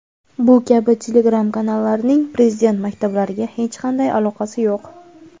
bu kabi telegram kanallarining Prezident maktablariga hech qanday aloqasi yo‘q.